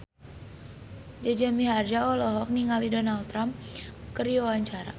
Jaja Mihardja olohok ningali Donald Trump keur diwawancara